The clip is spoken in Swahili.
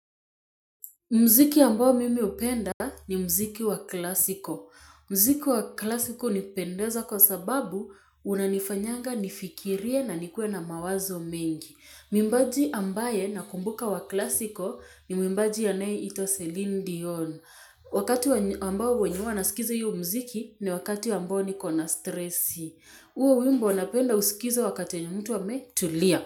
Muziki ambao mimi hupenda ni muziki wa klasiko. Muziki wa klasiko nipendeza kwa sababu unanifanyanga nifikirie na nikue na mawazo mengi. Mwimbaji ambaye nakumbuka wa klasiko ni mwimbaji ya nei ito Celine Dion. Wakati ambao wenye huwa nasikiza hiyo muziki ni wakati ambao nikona stresi. Huo wimbo napenda usikizo wakati yenye mtu ametulia.